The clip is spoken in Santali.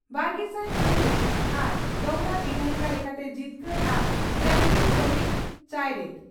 ᱵᱟᱨᱜᱮᱥᱟᱭ ᱯᱩᱱ ᱨᱮ ᱟᱨ ᱫᱚᱦᱚᱲᱟ ᱵᱤᱫᱷᱟᱭᱤᱠᱟ ᱞᱮᱠᱟᱛᱮ ᱡᱤᱛᱠᱟᱹᱨ ᱟᱨ ᱥᱴᱟᱰᱤᱝ ᱠᱚᱢᱤᱴ ᱪᱟᱭᱨᱮᱛ ᱾